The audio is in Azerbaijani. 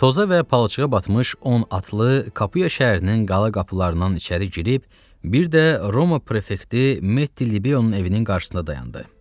Toza və palçığa batmış 10 atlı Kapuya şəhərinin qala qapılarından içəri girib bir də Roma prefekti Metti Libeonun evinin qarşısında dayandı.